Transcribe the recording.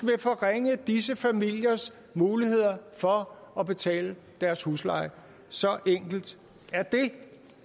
forringe disse familiers muligheder for at betale deres husleje så enkelt er det